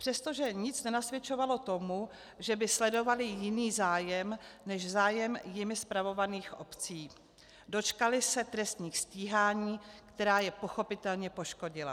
Přestože nic nenasvědčovalo tomu, že by sledovali jiný zájem než zájem jimi spravovaných obcí, dočkali se trestních stíhání, která je pochopitelně poškodila.